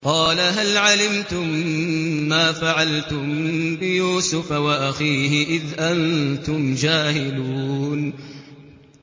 قَالَ هَلْ عَلِمْتُم مَّا فَعَلْتُم بِيُوسُفَ وَأَخِيهِ إِذْ أَنتُمْ جَاهِلُونَ